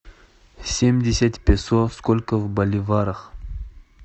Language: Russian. семьдесят песо сколько в боливарах